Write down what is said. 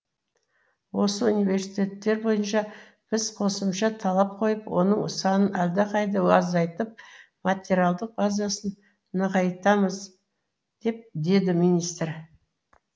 осы университеттер бойынша біз қосымша талап қойып оның санын әлдеқайда азайтып материалдық базасын нығайтамыз деді министр